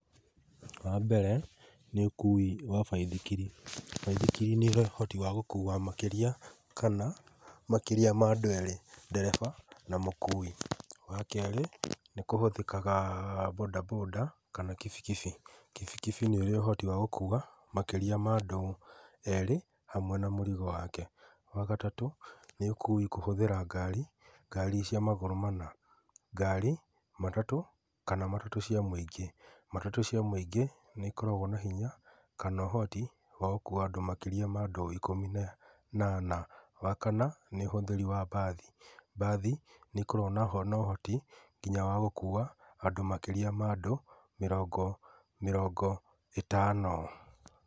Wa mbere, nĩ ũkui wa baithikiri. Baithikiri nĩ iri ũhoti wa gũkua makĩria, kana makĩria ma andũ erĩ, ndereba, na mũkuwi. Wa kerĩ, nĩ kũhũthĩkaga mbũnda mbũnda kana kibikibi. Kibikibi nĩ ũrĩ ũhoti wa gũkua makĩria ma andũ erĩ, hamwe na mũrigo wake. Wa gatatũ, nĩ ũkui kũhũthĩra ngari. Ngari cia magũrũ mana, ngari, matatũ, kana matatũ cia mũingĩ. Matatũ cia mũingĩ, nĩ ikoragwo na hinya, kana ũhoti wa gũkua andũ makĩria ya ikũmi na anana. Wakana, nĩ ũhũthĩri wa mbathi. Mbathi nĩ ikoragwo na ũhoti wa gũkua nginya andũ makĩria ma andũ mĩrongo, mĩrongo ĩtano.